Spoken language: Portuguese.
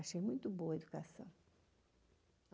Achei muito boa a educação.